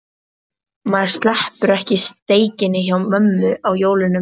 Maður sleppir ekki steikinni hjá mömmu á jólunum